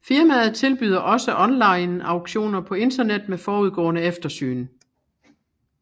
Firmaet tilbyder også onlineauktioner på Internet med forudgående eftersyn